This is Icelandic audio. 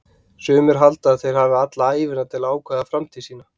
Sumir halda að þeir hafi alla ævina til að ákveða framtíð sína.